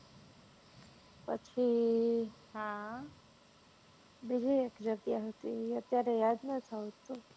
પછી બીજી એક જગ્યા હતી ઈ અત્યારે યાદ નથી આવતું